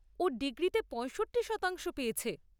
ও degree তে পয়ষট্টি শতাংশ পেয়েছে।